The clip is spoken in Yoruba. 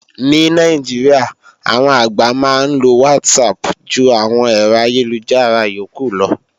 Ní Nàìjíríà, àwọn àgbà máa ń lo WhatsApp ju àwọn ẹ̀rọ ayélujára yókù lọ